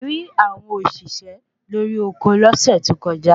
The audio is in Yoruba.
a rí àwọn òṣìṣẹ́ lori oko lọ́sẹ̀ tó kọjá